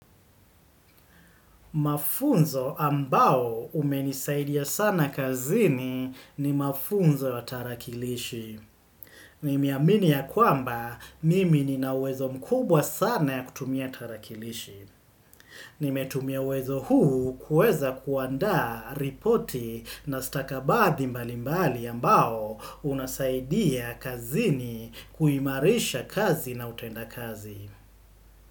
Mafunzo ambao umenisaidia sana kazini ni mafunzo ya tarakilishi. Nimeaminiaya kwamba mimi nina uwezo mkubwa sana ya kutumia tarakilishi. Nimetumia uwezo huu kuweza kuandaa ripoti na stakabadhi mbalimbali ambao unasaidia kazini kuimarisha kazi na utenda kazi.